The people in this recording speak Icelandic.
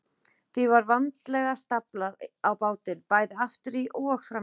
Því var vandlega staflað á bátinn, bæði aftur í og fram í.